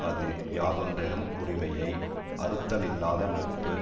அது யாதொன்றிலும் உரிமையை அறுத்தலில்லாத நட்பு